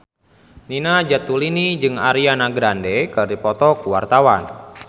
Nina Zatulini jeung Ariana Grande keur dipoto ku wartawan